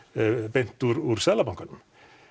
beint úr Seðlabankanum